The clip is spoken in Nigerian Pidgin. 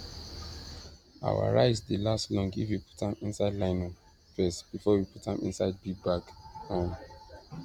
our rice dey last long if we put am inside nylon first before we put am inside big bag um